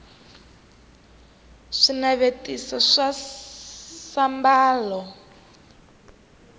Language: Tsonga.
swinavetiso swa sambalo